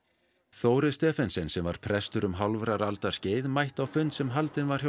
Þórir Stephensen sem var prestur um hálfrar aldar skeið mætti á fund sem haldinn var hjá